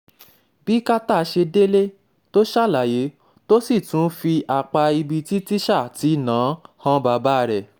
bí carter ṣe délé tó ṣàlàyé tó sì tún fi apá ibi tí tíṣà ti ná an han bàbá rẹ̀